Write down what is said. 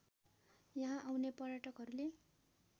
यहाँ आउने पर्यटकहरूले